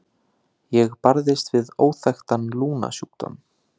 Ég barðist við óþekktan lungnasjúkdóm.